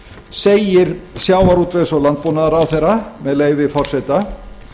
segir sjávarútvegs og landbúnaðarráðherra með leyfi forseta